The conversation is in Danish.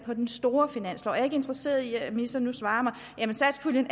på den store finanslov jeg er ikke interesseret i at ministeren nu svarer mig at satspuljen